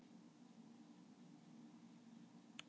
Hann klæddist og gekk út.